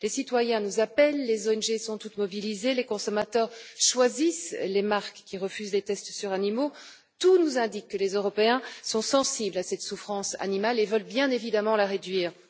Les citoyens nous appellent, les ONG sont toutes mobilisées, les consommateurs choisissent les marques qui refusent les tests sur les animaux, tout nous indique que les Européens sont sensibles à cette souffrance animale et veulent, bien évidemment, la réduire.